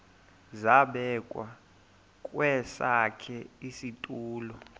zabekwa kwesakhe isitulo